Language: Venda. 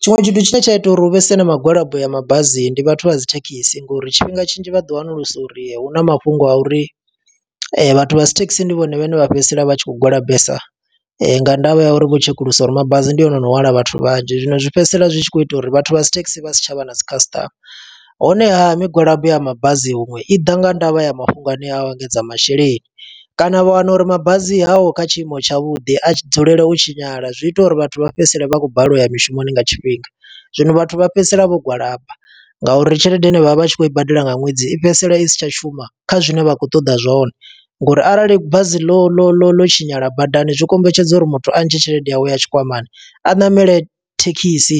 Tshiṅwe tshithu tshine tsha ita uri huvhese na migwalabo ya mabasi ndi vhathu vha dzi thekhisi, ngo uri tshifhinga tshinzhi vhaḓi wanulusa uri, hu na mafhungo a uri vhathu vha dzi thekhisi ndi vhone vhane vha fhedzisela vha tshi khou gwalabesa. Ndavha ya uri vho tshekulusa uri mabasi ndi one ono hwala vhathu vhanzhi. Zwino zwi fhedzisela zwi tshi khou ita uri vhathu vha dzi thekhisi vha si tsha vha na dzi khasiṱama. Honeha migwalabo ya mabasi huṅwe i ḓa nga ndavha ya mafhungo hanea a u engedza masheleni, kana vha wana uri mabazi haho kha tshiimo tshavhuḓi. A tshi dzulela u tshinyala, zwi ita uri vhathu vha fhedzisele vha khou balelwa uya mishumoni nga tshifhinga. Zwino vhathu vha fhedzisela vho gwalaba nga uri tshelede ine vha vha vha tshi khou i badela nga ṅwedzi, i fhedzisela i si tsha shuma kha zwine vha khou ṱoḓa zwone. Ngo uri arali bazi ḽo ḽo ḽo ḽo tshinyala badani, zwi kombetshedza uri muthu a ntshe tshelede yawe ya tshikwamani. A ṋamele thekhisi,